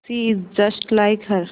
she is just like her